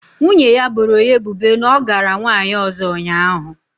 Nwunye ya boro ya ebubo na ọ gara nwanyị ọzọ ụnyaahụ